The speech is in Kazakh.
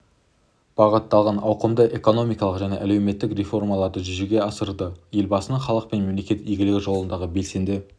бағытталған ауқымды экономикалық және әлеуметтік реформаларды жүзеге асырды елбасының халық пен мемлекет игілігі жолындағы белсенді